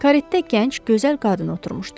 Karetdə gənc, gözəl qadın oturmuşdu.